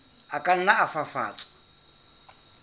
a ka nna a fafatswa